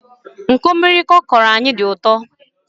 Nkọmịrịkọ ọ kọrọ anyị tọrọ ụtọ